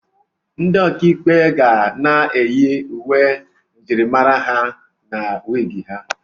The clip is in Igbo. Ndị ọkà ikpe ga na-eyi uwe njirimara ha na wiig ha.